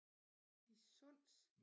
I Sunds